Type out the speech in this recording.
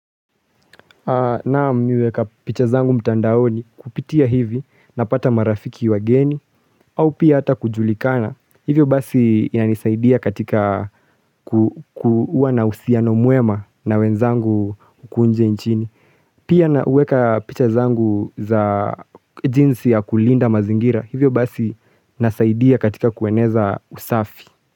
Naam nimeweka picha zangu mtandaoni kupitia hivi napata marafiki wageni au pia hata kujulikana. Hivyo basi inanisaidia katika kuwa na uhusiano mwema na wenzangu kule nje nchini. Pia naweka picha zangu za jinsi ya kulinda mazingira hivyo basi nasaidia katika kueneza usafi.